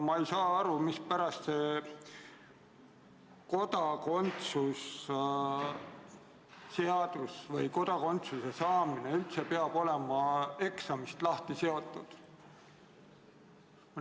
Ma ei saa aru, mispärast kodakondsuse saamine peab olema eksaminõudest lahti seotud.